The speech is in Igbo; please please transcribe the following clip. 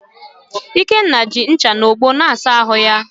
Ikenna ji ncha na ogbo na-asa ahụ ya